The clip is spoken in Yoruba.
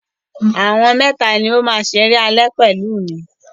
Àwọn mẹ́tà ni ó máa ṣeré alẹ́ pẹ̀lú mi.